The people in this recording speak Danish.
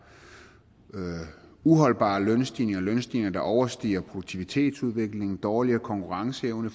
uholdbare lønstigninger lønstigninger der overstiger produktivitetsudviklingen og dårligere konkurrenceevne